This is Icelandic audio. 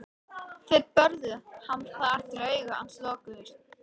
Þeir börðu hann þar til augu hans lokuðust.